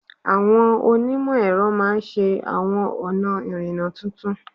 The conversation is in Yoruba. Àwọn onímọ̀ ẹ̀rọ máa ṣe àwọn ọ̀nà ìrìnnà tuntun